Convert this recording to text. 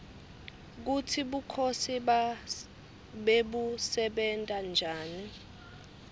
kutsi bukhosi bebusebenta njani